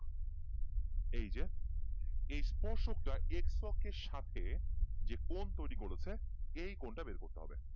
এই যে এই স্পর্শক টা X শোকের সাথে যে কোন তৈরি করেছে এই কোনটা বের করতে হবে